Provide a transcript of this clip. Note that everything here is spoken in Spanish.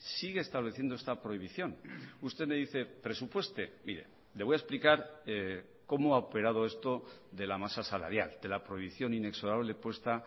sigue estableciendo esta prohibición usted me dice presupueste mire le voy a explicar cómo ha operado esto de la masa salarial de la prohibición inexorable puesta